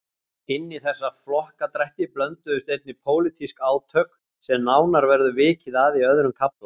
Inní þessa flokkadrætti blönduðust einnig pólitísk átök sem nánar verður vikið að í öðrum kafla.